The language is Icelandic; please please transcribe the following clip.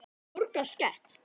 Borga sekt?